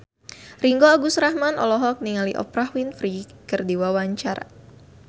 Ringgo Agus Rahman olohok ningali Oprah Winfrey keur diwawancara